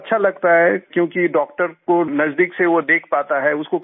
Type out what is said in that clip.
patient को अच्छा लगता है क्योंकि डॉक्टर को नज़दीक से वो देख पाता है